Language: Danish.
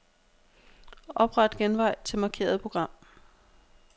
Opret genvej til markerede program.